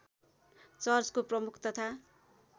चर्चको प्रमुख तथा